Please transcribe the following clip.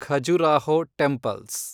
Khajuraho temples